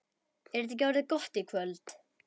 Er þetta ekki orðið gott í kvöld?